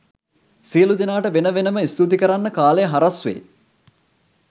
සියළු දෙනාටම වෙන වෙනම ස්තුති කරන්න කාලය හරස් වේ